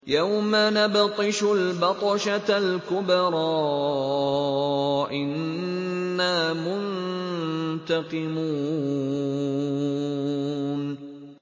يَوْمَ نَبْطِشُ الْبَطْشَةَ الْكُبْرَىٰ إِنَّا مُنتَقِمُونَ